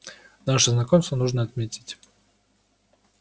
наше знакомство нужно отметить